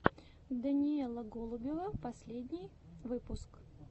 даниэла голубева последний выпуск